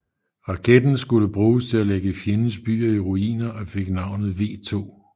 Raketten skulle bruges til at lægge fjendens byer i ruiner og fik navnet V2